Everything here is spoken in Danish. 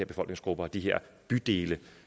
befolkningsgrupper og de her bydele